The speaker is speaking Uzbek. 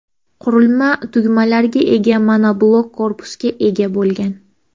Qurilma tugmalarga ega monoblok korpusga ega bo‘lgan.